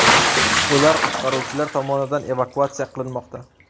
Ular qutqaruvchilar tomonidan evakuatsiya qilinmoqda.